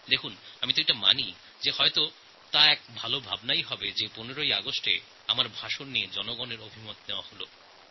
দেখুন আমি এটা মানি এ এক ভাল জিনিস যে ১৫ই অগাস্ট আমার ভাষণের জন্য জনতাজনার্দনের কাছ থেকে পরামর্শ সংগ্রহ